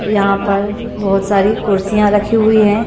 यहां पर बहुत सारी कुर्सियां रखी हुई हैं।